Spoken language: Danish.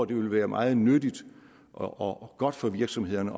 det ville være meget nyttigt og godt for virksomhederne